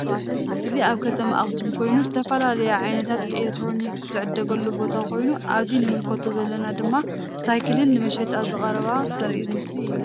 እዚ አብ ከተማ አክሱም ኮይኑ ዝተፈላለዩ ዓይነታት ኤሌትሮኒክስ ዝዕደዘገሉ ቦታ ኮይኑ አብዚ ንምልከቶ ዘለና ድማ ሳይክል ንመሸጣ ዝቀረባ ዘሪኢ መስሊ እዩ።